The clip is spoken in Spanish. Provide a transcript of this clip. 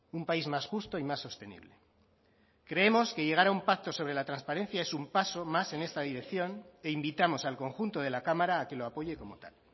un país más justo y más sostenible creemos que llegar a un pacto sobre la transparencia es un paso más en esta dirección e invitamos al conjunto de la cámara a que lo apoye como tal